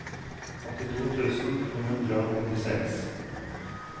åttito tusen to hundre og nittiseks